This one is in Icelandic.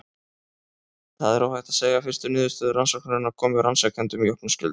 Það er óhætt að segja að fyrstu niðurstöður rannsóknarinnar komu rannsakendum í opna skjöldu.